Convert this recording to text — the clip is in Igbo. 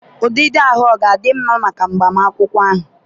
ụdịdị ahụ ọ ga-adị mma maka agbamakwụkwọ ahụ?